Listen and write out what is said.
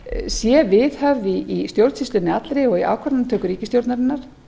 sé viðhöfð í stjórnsýslunni allri og í ákvarðanatöku ríkisstjórnarinnar